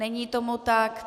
Není tomu tak.